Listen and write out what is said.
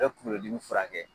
U bɛ kunkolo dimi furakɛ.